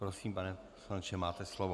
Prosím, pane poslanče, máte slovo.